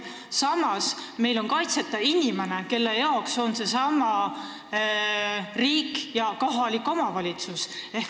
Samas on meil inimene, kelle jaoks on riik ja kohalik omavalitsus loodud, kaitseta.